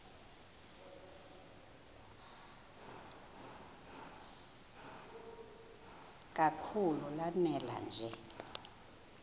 kakhulu lanela nje